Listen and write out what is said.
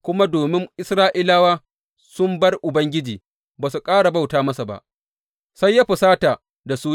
Kuma domin Isra’ilawa sun bar Ubangiji ba su ƙara bauta masa ba, sai ya fusata da su.